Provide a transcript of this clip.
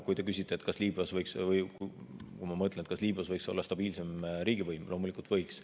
Kui te küsite, kas Liibüas võiks olla stabiilsem riigivõim, siis loomulikult võiks.